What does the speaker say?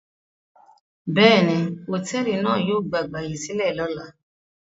Bẹ́ẹ̀ni, hòtẹ́ẹ́lì náà yóò gba ìgbàyèsílẹ̀ lọ́la.